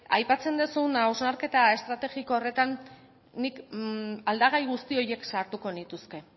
aipatzen duzun hausnarketa estrategiko horretan nik aldagai guzti horiek sartuko nituzke